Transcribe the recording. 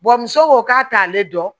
muso ko k'a t'ale dɔn